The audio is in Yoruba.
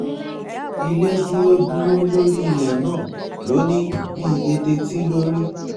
ilé dúró dúró lórí ilẹ̀ náà ló ní bíi eteetí ló rí